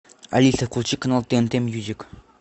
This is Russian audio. алиса включи канал тнт мьюзик